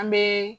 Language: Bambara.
An bɛ